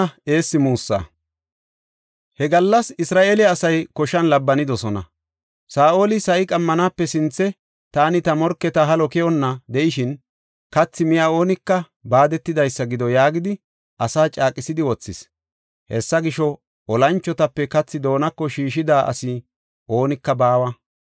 He gallas Isra7eele asay koshan labbanidosona. Saa7oli, “Sa7i qammanaape sinthe taani ta morketa halo keyonna de7ishin, kathi miya oonika baadetidaysa gido” yaagidi asaa caaqisidi wothis. Hessa gisho, olanchotape kathi doonako shiishida asi oonika baawa.